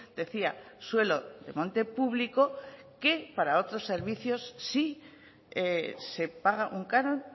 decía suelo de monte público que para otros servicios sí se paga un canon